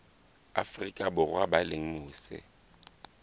afrika borwa ba leng mose